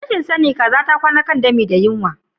Rashin sani kaza ta kwana kan dami da yunwa.